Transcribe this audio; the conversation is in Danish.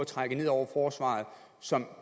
trække ned over forsvaret og som